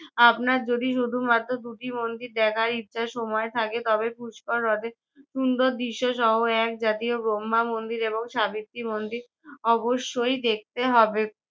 আপনার যদি শুধু দুটি মাত্র মন্দির দেখার ইচ্ছা সময় থাকে তবে পুষ্কর হ্রদে সুন্দর দৃশ্যসহ এক জাতীয় ব্রহ্মা মন্দির এবং সাবিত্রী মন্দির অবশ্যই দেখতে হবে।